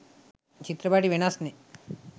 චිත්‍රපටි වෙනස් නේ.